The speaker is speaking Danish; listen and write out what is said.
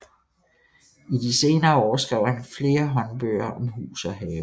I de senere år skrev han flere håndbøger om hus og have